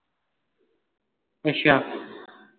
ਅੱਛਾ